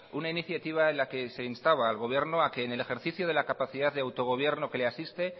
una iniciativa en la que se instaba al gobierno a que en el ejercicio de capacidad de autogobierno que le asiste